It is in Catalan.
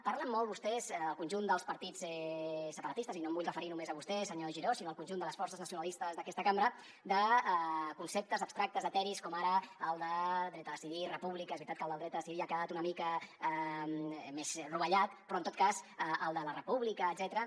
parlen molt vostès el conjunt dels partits separatistes i no em vull referir només a vostè senyor giró sinó al conjunt de les forces nacionalistes d’aquesta cambra de conceptes abstractes eteris com ara el de dret a decidir república és veritat que el del dret a decidir ja ha quedat una mica més rovellat però en tot cas el de la república etcètera